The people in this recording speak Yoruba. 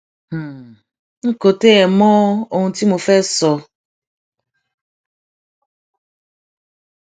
n kò tiẹ mọ ohun tí mo fẹẹ sọ